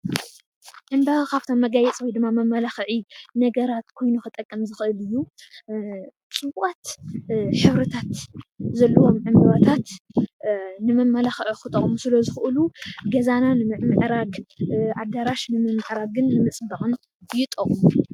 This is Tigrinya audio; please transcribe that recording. ካብ መመላክዒ ነገራት ኮይኑ ዝጠቅም ዝክእል ሕብሪታት ዘለዎም ዕምበባታት ንመመላክዒ ክጠቅሙ ስለዝክእሉ ገዛና ንምምዕራግ ኣዳራሽ ንምምዕራግን ንምፅባቅን ዝጠቅሙ እዮም።